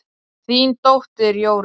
Þín dóttir, Jórunn.